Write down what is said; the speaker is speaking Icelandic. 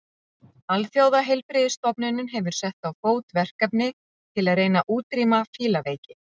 Alþjóðaheilbrigðisstofnunin hefur sett á fót verkefni til að reyna að útrýma fílaveiki.